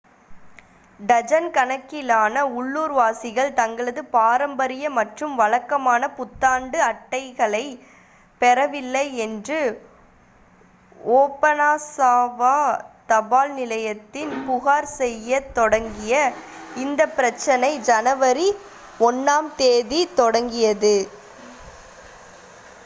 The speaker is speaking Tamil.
டஜன் கணக்கிலான உள்ளூர்வாசிகள் தங்களது பாரம்பரிய மற்றும் வழக்கமான புத்தாண்டு அட்டைகளைப் பெறவில்லை என்று ஓபனாசாவா தபால் நிலையத்தில் புகார் செய்யத் தொடங்கிய இந்த பிரச்சனை ஜனவரி 1-ஆம் தேதி தொடங்கியது